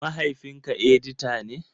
Mahaifinka edita ne?